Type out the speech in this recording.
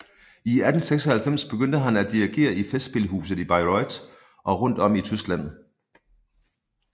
I 1896 begyndte han at dirigere i festspilhuset i Bayreuth og rundt om i Tyskland